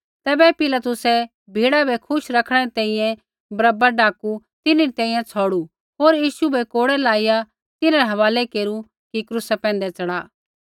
तैबै पिलातुसै भिड़ा बै खुश रैखणै री तैंईंयैं बरअब्बा डाकू तिन्हरी तैंईंयैं छ़ौड़ू होर यीशु बै कोड़ै लाईया तिन्हरै हवालै केरू कि क्रूसा पैंधै च़ढ़ा